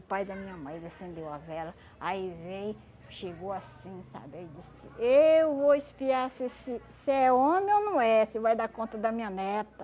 O pai da minha mãe, ele acendeu a vela, aí veio, chegou assim, sabe, aí disse assim, eu vou espiar se esse se é homem ou não é, se vai dar conta da minha neta.